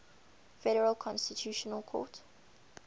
federal constitutional court